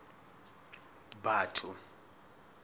batho